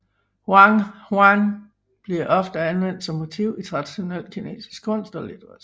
Huangshan bliver ofte anvendt som motiv i traditionel kinesisk kunst og litteratur